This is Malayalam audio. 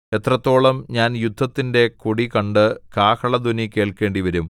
എത്രത്തോളം ഞാൻ യുദ്ധത്തിന്റെ കൊടി കണ്ട് കാഹളധ്വനി കേൾക്കേണ്ടിവരും